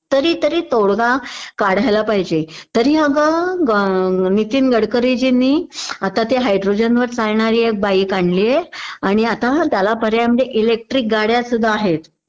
तरी तरी तोडगा काढायला पाहिजे.तरी अगं नितीन गडकरींजीनी आता त्या हैड्रोजन वर चालणारी एक बाईक आणलीये आणि आता त्याला पर्याय म्हणजे इलेक्ट्रिक गाड्या सुद्धा आहेत